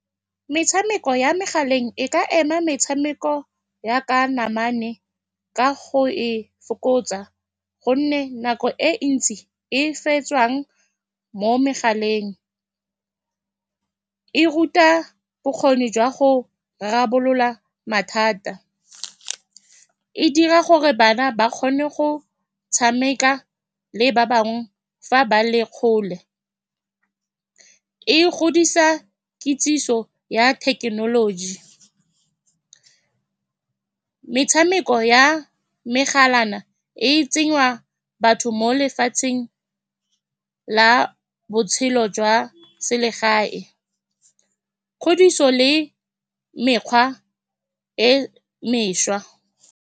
Metshameko ya megaleng e ka ema metshameko ya ka namana ka go e fokotsa ka gonne nako e ntsi e fetsang mo megaleng e ruta bokgoni jwa go rarabolola mathata. E dira gore bana ba kgone go tshameka le ba bangwe fa ba le kgole. E godisa kitsiso ya thekenoloji. Metshameko ya megalana e tsenya batho mo lefatsheng la botshelo jwa selegae, kgodiso le mekgwa e mešwa.